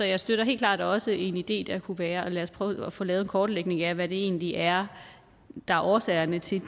jeg støtter helt klart også en idé der kunne være at lad os prøve at få lavet en kortlægning af hvad det egentlig er der er årsagerne til